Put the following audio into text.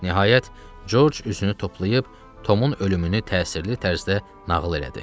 Nəhayət, George üzünü toplayıb Tomun ölümünü təsirli tərzdə nağıl elədi.